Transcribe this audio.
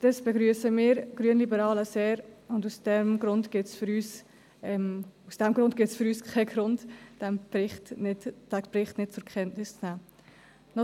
Dies begrüssen wir Grünliberalen sehr, und aus diesem Grund gibt es für uns keinen Grund, diesen Bericht nicht zur Kenntnis zu nehmen.